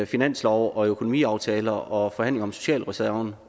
finanslov økonomiaftaler og forhandlinger om socialreserven